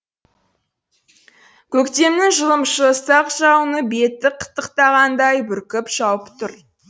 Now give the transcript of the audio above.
көктемнің жылымшы ұсақ жауыны бетті қытықтағандай бүркіп жауып тұр